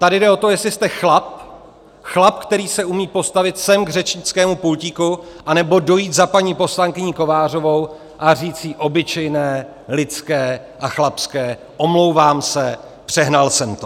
Tady jde o to, jestli jste chlap, chlap, který se umí postavit sem k řečnickému pultíku anebo dojít za paní poslankyní Kovářovou a říci jí obyčejné lidské a chlapské "omlouvám se, přehnal jsem to".